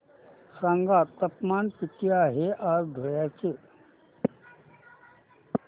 सांगा तापमान किती आहे आज धुळ्याचे